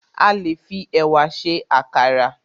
A le fi ẹ̀wà se àkàrà